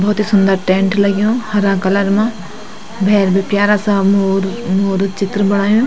भौत ही सुन्दर टैंट लग्यूं हरा कलर मा भैर बि प्यारा सा मोर मोरो चित्र बणायु।